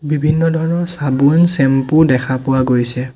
বিভিন্ন ধৰণৰ চাবোন চেম্পু দেখা পোৱা গৈছে।